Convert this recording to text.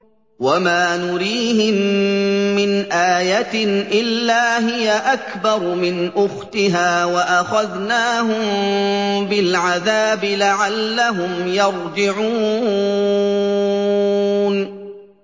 وَمَا نُرِيهِم مِّنْ آيَةٍ إِلَّا هِيَ أَكْبَرُ مِنْ أُخْتِهَا ۖ وَأَخَذْنَاهُم بِالْعَذَابِ لَعَلَّهُمْ يَرْجِعُونَ